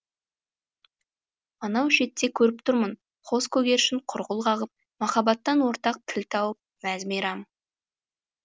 анау шетте көріп тұрмын қос көгершін құрқыл қағып махаббаттан ортақ тіл тауып мәз мейрам